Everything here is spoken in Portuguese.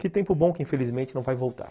Que tempo bom que infelizmente não vai voltar.